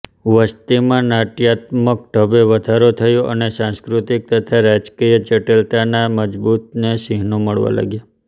વસતીમાં નાટ્યાત્મકઢબે વધારો થયો અને સાંસ્કૃતિક તથા રાજકીય જટિલતાના મજબૂત ચિહ્નો મળવા લાગ્યા